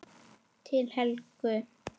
Til Helgu.